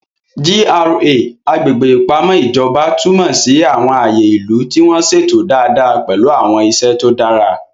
GRA (Agbègbè Ìpamọ́ Ìjọba) túmọ̀ sí àwọn ààyè ìlú tí wọ́n ṣètò dáadáa pẹ̀lú àwọn iṣẹ́ tó dára.